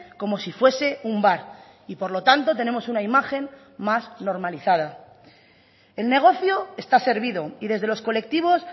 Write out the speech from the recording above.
como si fuese un bar y por lo tanto tenemos una imagen más normalizada el negocio está servido y desde los colectivos